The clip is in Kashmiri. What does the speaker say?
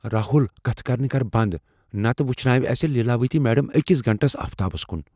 راہُل! کتھہٕ کرنہِ كر بنٛد، نتہٕ وُچھناوِ اسہِ لیلاوتی میڈم أکس گنٹس آفتابس کُن۔